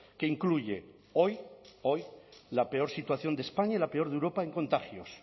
que incluye hoy hoy la peor situación de españa y la peor de europa en contagios